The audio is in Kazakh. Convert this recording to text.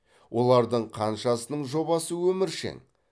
олардың қаншасының жобасы өміршең